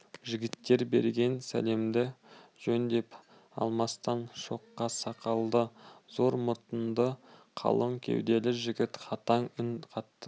жігіттер берген сәлемді жөндеп алмастан шоқша сақалды зор мұрынды қалың кеуделі жігіт қатаң үн қатты